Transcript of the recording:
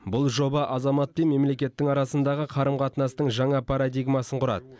бұл жоба азамат пен мемлекеттің арасындағы қарым қатынастың жаңа парадигмасын құрады